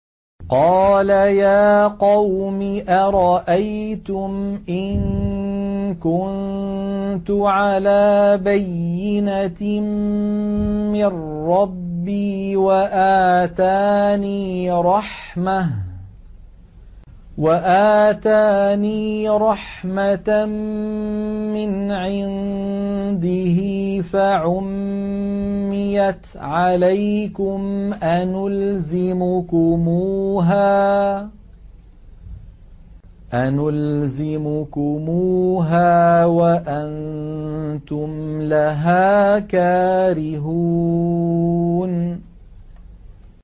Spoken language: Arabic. قَالَ يَا قَوْمِ أَرَأَيْتُمْ إِن كُنتُ عَلَىٰ بَيِّنَةٍ مِّن رَّبِّي وَآتَانِي رَحْمَةً مِّنْ عِندِهِ فَعُمِّيَتْ عَلَيْكُمْ أَنُلْزِمُكُمُوهَا وَأَنتُمْ لَهَا كَارِهُونَ